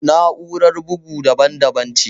Na'urar bugu daban daban ce